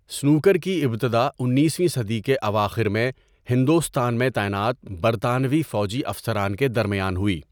Snooker کی ابتدا اُنیسویں صدی کے اواخر میں ہندوستان میں تعینات برطانوی فوجی افسران کے درمیان ہوئی۔